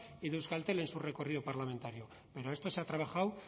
y de euskaltel en su recorrido parlamentario pero esto se ha trabajado